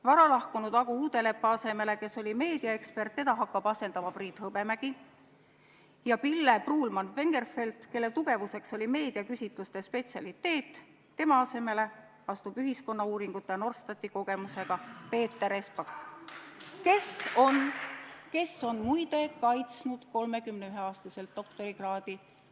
Varalahkunud Agu Uudeleppa, kes oli meediaekspert, hakkab asendama Priit Hõbemägi ja Pille Pruulmann-Vengerfeldti asemele, kelle tugevuseks oli meediaküsitluste spetsialiteet, astub ühiskonnauuringute ja Norstati kogemusega Peeter Espak, kes, muide, on 31-aastaselt saanud doktorikraadi.